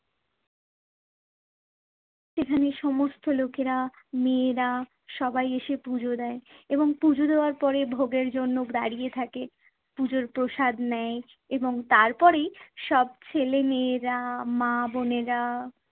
এখানে সমস্ত লোকেরা, মেয়েরা সবাই এসে পুজো দেয় এবং পুজো দেওয়ার পরে ভোগের জন্য দাঁড়িয়ে থাকে। পুজোর প্রসাদ নেয় এবং তারপরেই সব ছেলে-মেয়েরা, মা-বোনেরা